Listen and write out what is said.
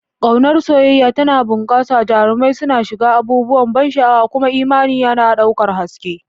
Ƙaunar soyayya tana bunƙasa, jarumai suna shiga abubuwan ban sha'awa, kuma imani yana ɗaukar haske.